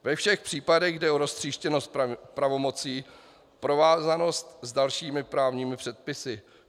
Ve všech případech jde o roztříštěnost pravomocí, provázanost s dalšími právními předpisy.